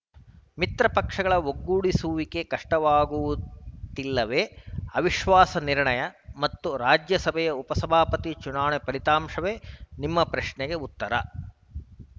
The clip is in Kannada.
ಮಿತ್ರಪಕ್ಷಗಳ ಒಗ್ಗೂಡಿಸುವಿಕೆ ಕಷ್ಟವಾಗುತ್ತಿಲ್ಲವೇ ಅವಿಶ್ವಾಸ ನಿರ್ಣಯ ಮತ್ತು ರಾಜ್ಯಸಭೆಯ ಉಪಸಭಾಪತಿ ಚುನಾವಣೆಯ ಫಲಿತಾಂಶವೇ ನಿಮ್ಮ ಪ್ರಶ್ನೆಗೆ ಉತ್ತರ